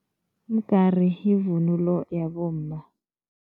Umgari yivunulo yabomma.